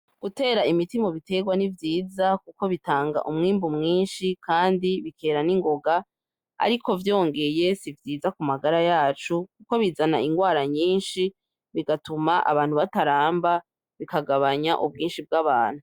Gutera ibiti mubiterwa ni vyiza kuko bitanga umwimbu mwinshi kandi bikera ningoga ariko vyongeye sivyiza kumagara yacu kuko bizana ingwara nyinshi bigatuma abantu bataramba bikagabanya ubwinshi bwabantu